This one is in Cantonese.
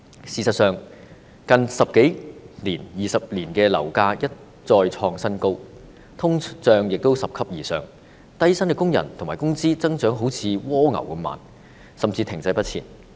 事實上，香港的樓價在近十多二十年一再創新高，通脹拾級而上，但低薪工人的工資增長卻仿如蝸牛般緩慢，甚至是停滯不前。